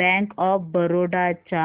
bank of Baroda च्या